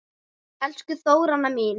Elsku Þóranna mín.